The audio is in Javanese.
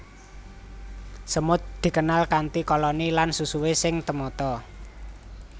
Semut dikenal kanthi koloni lan susuhé sing temata